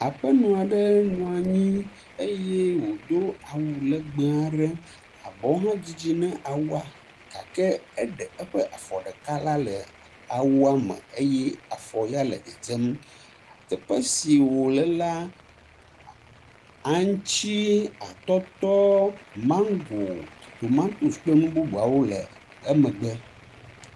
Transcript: Aƒenɔ aɖe nɔ anyi eye wodo awu legbe aɖe. Abɔwo hedzidzi ne awua gake eɖe eƒe afɔ ɖeka ɖa le awu me eye afɔ ya le dedzem. Teƒe si wo le la, aŋtsi, atɔtɔ, mago, tomatosi kple nu bubuawo le emegbe.